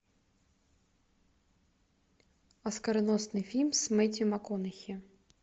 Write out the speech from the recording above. оскароносный фильм с мэттью макконахи